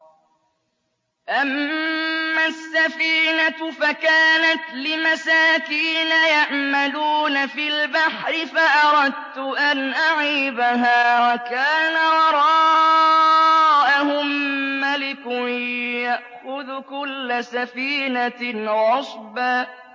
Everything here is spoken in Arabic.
أَمَّا السَّفِينَةُ فَكَانَتْ لِمَسَاكِينَ يَعْمَلُونَ فِي الْبَحْرِ فَأَرَدتُّ أَنْ أَعِيبَهَا وَكَانَ وَرَاءَهُم مَّلِكٌ يَأْخُذُ كُلَّ سَفِينَةٍ غَصْبًا